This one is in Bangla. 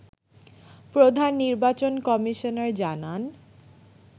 প্রধান নির্বাচন কমিশনার জানান